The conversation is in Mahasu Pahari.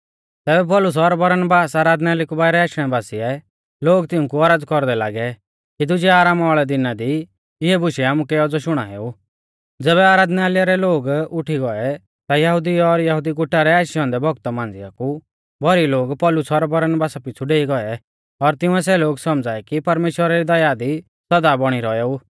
ज़ैबै आराधनालय रै लोग उठी गौऐ ता यहुदी और यहुदी गुटा रै आशै औन्दै भौगत मांझ़िया कु भौरी लोग पौलुस और बरनबासा पिछ़ु डेई गौऐ और तिंउऐ सै लोग सौमझ़ाऐ कि परमेश्‍वरा री दया दी सौदा बौणी रौएऊ